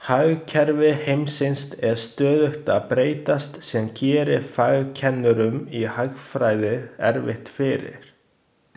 Hagkerfi heimsins er stöðugt að breytast sem gerir fagkennurum i hagfræði erfitt fyrir.